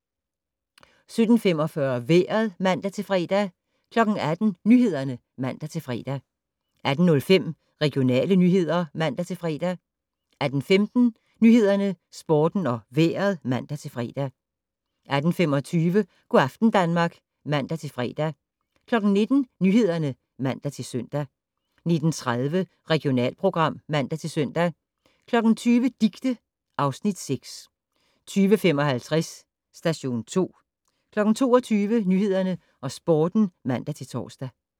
17:45: Vejret (man-fre) 18:00: Nyhederne (man-fre) 18:05: Regionale nyheder (man-fre) 18:15: Nyhederne, Sporten og Vejret (man-fre) 18:25: Go' aften Danmark (man-fre) 19:00: Nyhederne (man-søn) 19:30: Regionalprogram (man-søn) 20:00: Dicte (Afs. 6) 20:55: Station 2 22:00: Nyhederne og Sporten (man-tor)